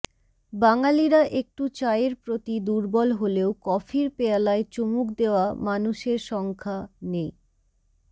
বাঙালিরা একটু চায়ের প্রতি দুর্বল হলেও কফির পেয়ালায় চুমুক দেওয়া মানুষের সংখ্যা নেহ